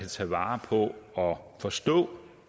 tage vare på og forstå